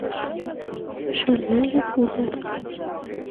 шальная пуля